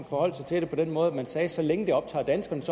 forholdt sig til det på den måde at man sagde så længe det optager danskerne